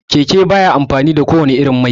Keke baya amfani da ko wanne irin mai